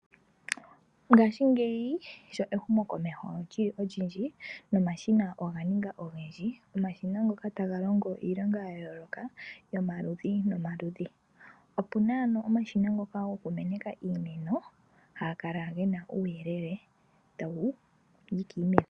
Ngaashingeyi sho ehumokomeho lyili olyindji, no mashina oga ninga ogendji, omashina ngoka taga longo iilonga ya yooloka yomaludhi nomaludhi. Opuna ano omashina ngoka goku meneka iimeno, haga kala gena uuyelele tawu minikile iimeno.